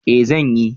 Eh zan yi.